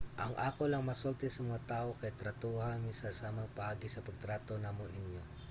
ang ako lang masulti sa mga tawo kay tratuha mi sa samang paagi sa pagtrato namo ninyo